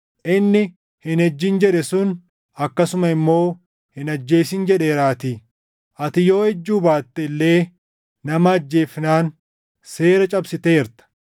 Inni, “Hin ejjin” + 2:11 \+xt Bau 20:14; KeD 5:18\+xt* jedhe sun akkasuma immoo, “Hin ajjeesin” + 2:11 \+xt Bau 20:13; KeD 5:17\+xt* jedheeraatii. Ati yoo ejjuu baatte illee nama ajjeefnaan seera cabsiteerta.